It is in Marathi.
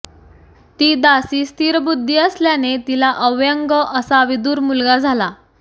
ती दासी स्थिरबुद्धी असल्याने तिला अव्यंग असा विदुर मुलगा झाला